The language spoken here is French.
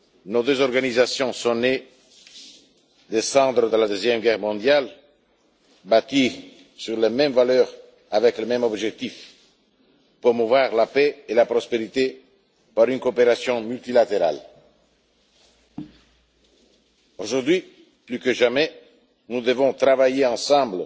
Nos deux organisations sont nées des cendres de la Seconde Guerre mondiale et ont été bâties sur les mêmes valeurs, avec le même objectif promouvoir la paix et la prospérité par une coopération multilatérale. Aujourd'hui, plus que jamais, nous devons travailler ensemble